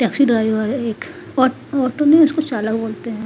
Taxi driver है एक आ ऑटो नही उसको चालक बोलते हैं।